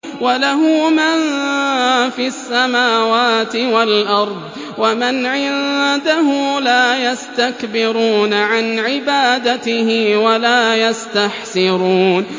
وَلَهُ مَن فِي السَّمَاوَاتِ وَالْأَرْضِ ۚ وَمَنْ عِندَهُ لَا يَسْتَكْبِرُونَ عَنْ عِبَادَتِهِ وَلَا يَسْتَحْسِرُونَ